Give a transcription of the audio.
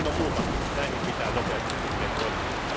Ilman muuta näihin pitää nopeasti pyrkiä puuttumaan.